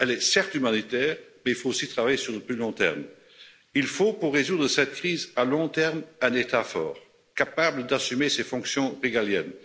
Elle est, certes, humanitaire, mais il faut aussi travailler sur le plus long terme. Il faut, pour résoudre cette crise à long terme, un État fort, capable d'assumer ses fonctions régaliennes.